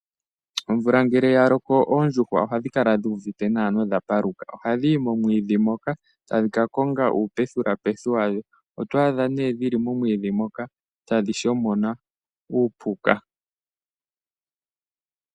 Omvula ngele ya loko oondjuhwa ohadhi kala dhi uvite nawa nodha paluka. Ohadhi yi momwiidhi moka tadhi ka konga uupethipethi wadho. Oto adha nee dhili momwiidhi moka tadhi shomona uupuka.